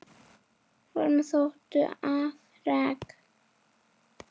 Honum þóttu afrek